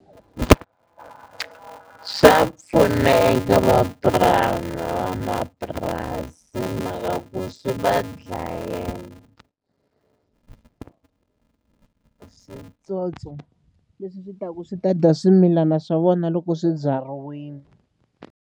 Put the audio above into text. Swa pfuna eka van'wamapurasi hi mhaka ku swi va dlayela switsotso leswi swi ta ku swi ta dya swimilana swa vona loko swi byariwile.